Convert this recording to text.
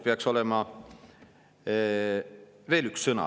Peaks olema veel üks sõna.